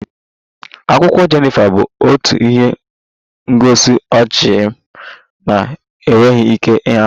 Akwụkwọ Jenifa bụ otu ihe ngosi ọchị m na-enweghị ike ịhapụ